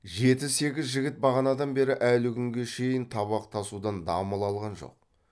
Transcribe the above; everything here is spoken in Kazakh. жеті сегіз жігіт бағанадан бері әлі күнге шейін табақ тасудан дамыл алған жоқ